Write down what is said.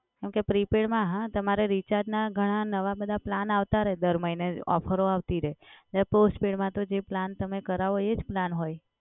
કેમ કે prepaid માં હા તમારે recharge ના ઘણા નવા બધા પ્લાન આવતા રહે દર મહિને ઓફરો આવતી રહે અને postpaid માં તો જે plan તમે કરાવો એ જ પ્લાન હોય.